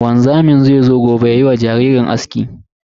Wanzamin zai zo gobe yayi wa jaririn aski.